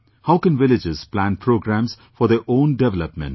How can villages plan programmes for their own development